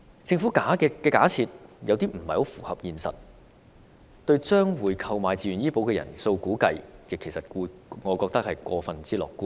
政府的稅率假設有點不太符合現實，對於將會購買自願醫保的人數估計，我認為是過於樂觀。